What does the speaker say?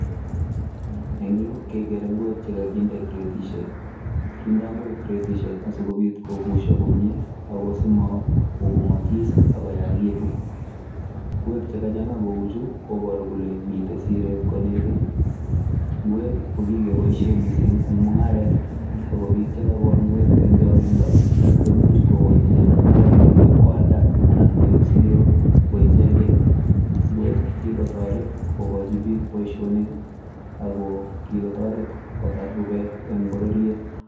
Eng Yuu kegere ngweek che kaginde cratisiek kindaa ngweek kretisheek asikobiit kobusia komyei asima kobongasi ak koyaituun ngweek che kachanga kou chuu kobaruu kole miten sireet konegit ngweek ii ko kikeboisien missing en mungaret ii ak biik che kagol ngweek eng changindo koimuuch kogochii chemungarainik ii koyaldaa anan koib siroo ko ichegeen, ingweek kikotaret kogochi biik boisionik ii ako kikotaret kotaar rupeet en bororiet.